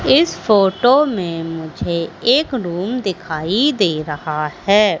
इस फोटो में मुझे एक रूम दिखाई दे रहा हैं।